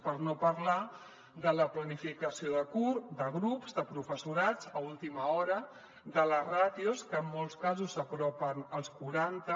per no parlar de la planificació de grups de professorat a última hora de les ràtios que en molts casos s’apropen als quaranta